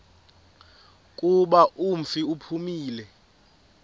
kuba umfi uphumile